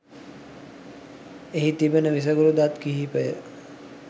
එහි තිබෙන විසකුරු දත් කිහිපය